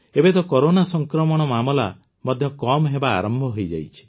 ଏବେ ତ କରୋନା ସଂକ୍ରମଣ ମାମଲା ମଧ୍ୟ କମ୍ ହେବା ଆରମ୍ଭ ହୋଇଯାଇଛି